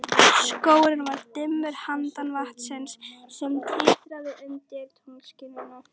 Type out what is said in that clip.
Skógurinn var dimmur handan vatnsins, sem titraði undir tunglskininu.